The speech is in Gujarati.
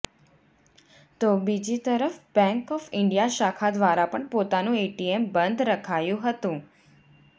તો બીજી તરફ બેંક ઓફ ઇન્ડિયા શાખા દ્વારા પણ પોતાનું એટીએમ બંધ રખાયું હતું